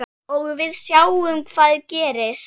Og við sjáum hvað gerist.